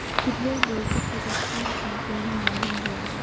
Futbol bo‘yicha Qozog‘iston chempioni ma’lum bo‘ldi.